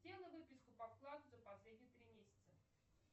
сделай выписку по вкладу за последние три месяца